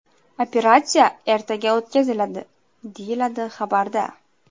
Operatsiya ertaga o‘tkaziladi”, deyiladi xabarda.